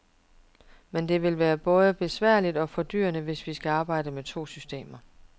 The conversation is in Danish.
Men det vil både være besværligt og fordyrende, hvis vi skal arbejde med to systemer.